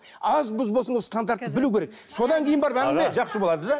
аз мұз болсын ол стандартты білу керек содан кейін барып әңгіме жақсы болады да